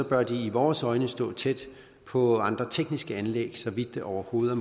bør de i vores øjne stå tæt på andre tekniske anlæg så vidt det overhovedet